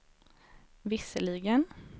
visserligen